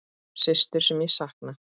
Systur sem ég sakna.